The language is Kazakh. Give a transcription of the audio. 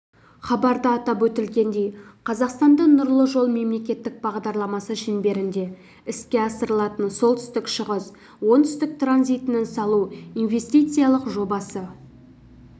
хабарда атап өтілгендей қазақстанда нұрлы-жол мемлекеттік бағдарламасы шеңберінде іске асырылатын солтүстік-шығыс-оңтүстік транзитінің салу инвестициялық жобасы